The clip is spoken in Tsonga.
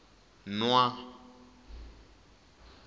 nwa